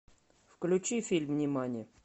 включи фильм нимани